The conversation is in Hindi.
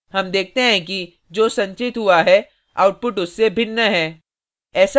हम देखते हैं कि जो संचित हुआ है output उससे भिन्न है